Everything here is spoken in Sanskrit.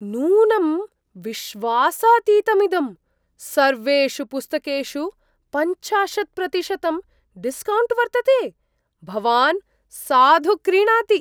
नूनं विश्वासातीतमिदम्! सर्वेषु पुस्तकेषु पञ्चाशत् प्रतिशतं डिस्कौण्ट् वर्तते, भवान् साधु क्रीणाति।